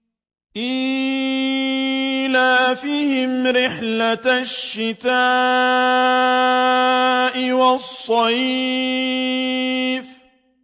إِيلَافِهِمْ رِحْلَةَ الشِّتَاءِ وَالصَّيْفِ